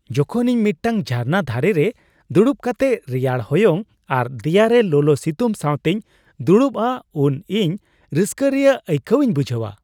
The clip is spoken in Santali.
ᱡᱚᱠᱷᱚᱱ ᱤᱧ ᱢᱤᱫᱴᱟᱝ ᱡᱷᱟᱨᱱᱟ ᱫᱷᱟᱨᱮ ᱨᱮ ᱫᱩᱲᱩᱵ ᱠᱟᱛᱮ ᱨᱮᱭᱟᱲ ᱦᱚᱭᱚᱝ ᱟᱨ ᱫᱮᱭᱟ ᱨᱮ ᱞᱚᱞᱚ ᱥᱤᱛᱩᱝ ᱥᱟᱣᱛᱮᱧ ᱫᱩᱲᱩᱵᱼᱟ ᱩᱱ ᱤᱧ ᱨᱟᱹᱥᱠᱟᱹ ᱨᱮᱭᱟᱜ ᱟᱹᱭᱠᱟᱹᱣ ᱤᱧ ᱵᱩᱡᱷᱟᱹᱣᱟ ᱾